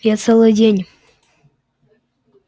я целый день